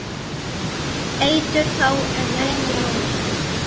Eitur þá en ekki nú?